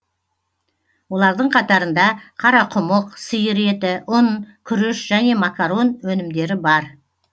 олардың қатарында қарақұмық сиыр еті ұн күріш және макарон өнімдері бар